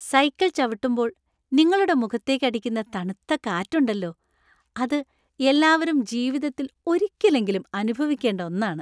Cycle ചവിട്ടുമ്പോൾ നിങ്ങളുടെ മുഖത്തേക്ക് അടിക്കുന്ന തണുത്ത കാറ്റ് ഉണ്ടല്ലോ അത് എല്ലാവരും ജീവിതത്തിൽ ഒരിക്കലെങ്കിലും അനുഭവിക്കേണ്ട ഒന്നാണ്.